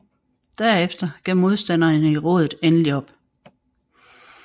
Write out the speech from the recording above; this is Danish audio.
Derefter gav modstanderne i rådet endelig op